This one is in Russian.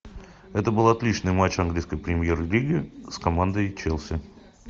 это был отличный матч английской премьер лиги с командой челси